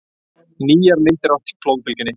Nýjar myndir af flóðbylgjunni